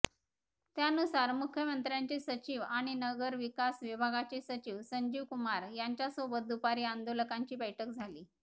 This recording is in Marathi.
त्यानुसार मुख्यमंत्र्यांचे सचिव आणि नगरविकास विभागाचे सचिव संजीवकुमार यांच्यासोबत दुपारी आंदोलकांची बैठक झाली